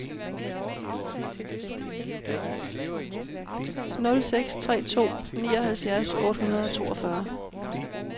nul seks tre to nioghalvfjerds otte hundrede og toogfyrre